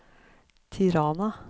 Tirana